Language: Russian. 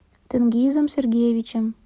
тенгизом сергеевичем